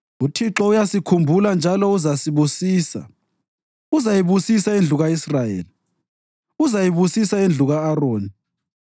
UThixo uyasikhumbula njalo uzasibusisa: Uzayibusisa indlu ka-Israyeli, uzayibusisa indlu ka-Aroni,